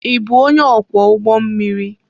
Ị bụ onye ọkwọ ụgbọ mmiri?